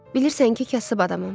Bilirsən ki, kasıb adamam.